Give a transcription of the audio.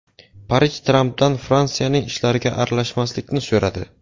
Parij Trampdan Fransiyaning ishlariga aralashmaslikni so‘radi.